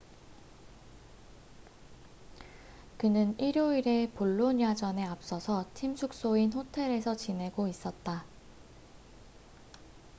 그는 일요일의 볼로냐전에 앞서서 팀 숙소인 호텔에서 지내고 있었다